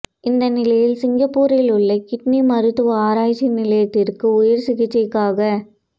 இந்த நிலையில் சிங்கப்பூரில் உள்ள கிட்னி மருத்துவ ஆராய்ச்சி நிலையத்திற்கு உயர் சிகிச்சைக்காக